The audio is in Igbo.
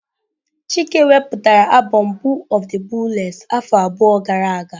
Chike wepụtara abom Boo of the booless afọ abụọ gara aga.